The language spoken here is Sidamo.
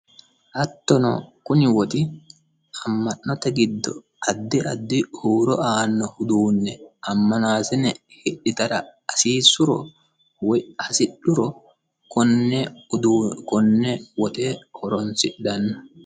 Hattono kuni woxi ama'note giddo addi addi huuro aano uduune amanasiine hidhittara hasiisuro woyi hasidhuro kone woxe horonsidhano.